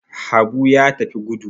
Habu ya tafi gudu.